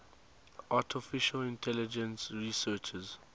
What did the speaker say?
artificial intelligence researchers